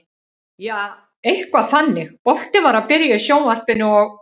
Jaa, eitthvað þannig, boltinn var að byrja í sjónvarpinu og.